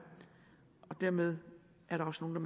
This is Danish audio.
og dermed er der også nogle